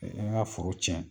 an ka foro tiɲɛ